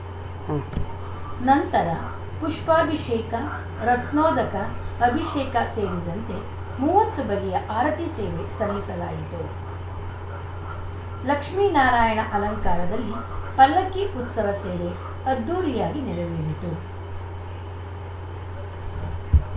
ಉಂ ನಂತರ ಪುಷ್ಪಾಭಿಷೇಕ ರತ್ನೊಧಕ ಅಭಿಷೇಕ ಸೇರಿದಂತೆ ಮೂವತ್ತು ಬಗೆಯ ಆರತಿ ಸೇವೆ ಸಲ್ಲಿಸಲಾಯಿತು ಲಕ್ಷ್ಮಿನಾರಾಯಣ ಅಲಂಕಾರದಲ್ಲಿ ಪಲ್ಲಕ್ಕಿ ಉತ್ಸವ ಸೇವೆ ಅದ್ಧೂರಿಯಾಗಿ ನೆರವೇರಿತು